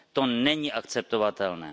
To není akceptovatelné.